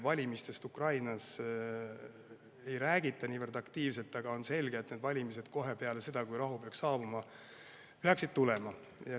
Valimistest Ukrainas ei räägita hetkel niivõrd aktiivselt, aga on selge, et need valimised kohe peale seda, kui rahu peaks saabuma, peaksid tulema.